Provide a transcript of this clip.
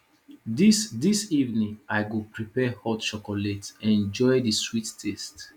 dis dis evening i go prepare hot chocolate enjoy di sweet taste